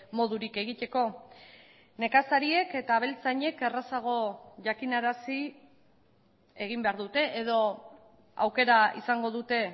modurik egiteko nekazariek eta abeltzainek errazago jakinarazi egin behar dute edo aukera izango dute